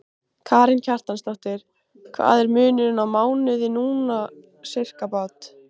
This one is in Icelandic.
Karen Kjartansdóttir: Hvað er munurinn á mánuði núna, sirkabát?